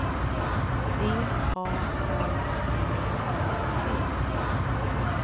V A R V E T